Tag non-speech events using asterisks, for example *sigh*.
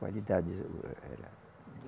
Qualidade. *unintelligible*